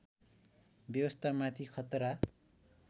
व्यवस्था माथि खतरा